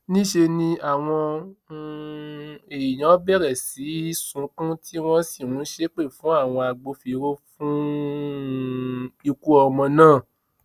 níṣẹ ni àwọn um èèyàn bẹrẹ sí í sunkún tí wọn sì ń ṣépè fún àwọn agbófinró fún um ikú ọmọ náà